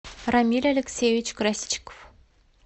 рамиль алексеевич красичков